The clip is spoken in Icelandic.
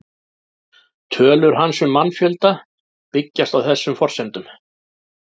Tölur hans um mannfjölda byggjast á þessum forsendum.